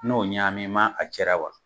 N'o ɲaaami m'a cɛra wa?